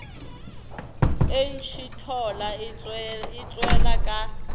e ntšhithola e tšwela ka